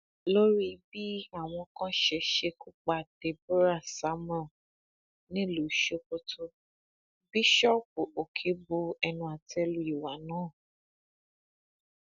lórí bí àwọn kan ṣe ṣekú pa deborah samuel nílùú sokoto bíṣọọbù òkè bu ẹnu àtẹ lu ìwà náà